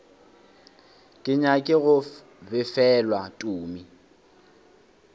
ke nyake go befelwa tumi